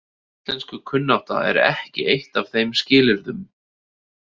Íslenskukunnátta er ekki eitt af þeim skilyrðum.